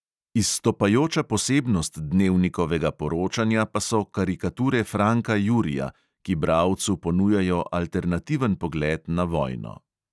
Izstopajoča posebnost dnevnikovega poročanja pa so karikature franka jurija, ki bralcu ponujajo alternativen pogled na vojno.